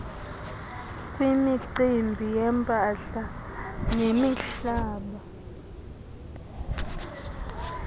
kwimicimbi yempahla nemihlaba